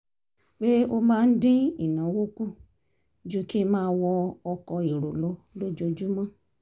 pé ó máa ń dín ìnáwó kù ju kí n máa wọ ọkọ̀ èrò lọ lójoojúmọ́